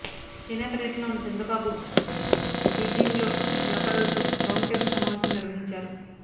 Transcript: China పర్యటనలో ఉన్న చంద్రబాబు బీజింగ్లో వ్యాపారులతో రౌండ్ టేబుల్ సమావేశం నిర్వహించారు